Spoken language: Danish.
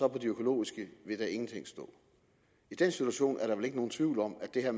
og på de økologiske vil der ingenting stå i den situation er der vel ikke nogen tvivl om at det her